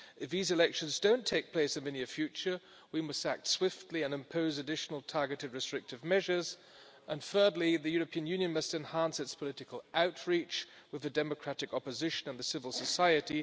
If these elections do not take place in the near future, we must act swiftly and impose additional targeted, restrictive measures, and thirdly, the European Union must enhance its political outreach with the democratic opposition and the civil society.